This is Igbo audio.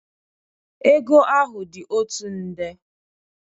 Ego ahụ dị otu nde.